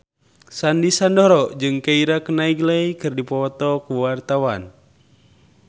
Sandy Sandoro jeung Keira Knightley keur dipoto ku wartawan